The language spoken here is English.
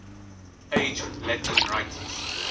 age latin writers